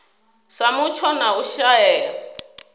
sa mutsho na u shaea